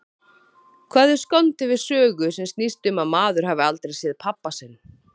Hvað er skondið við sögu sem snýst um að maður hafi aldrei séð pabba sinn?